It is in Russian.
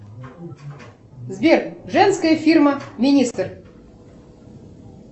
сбер женская фирма министр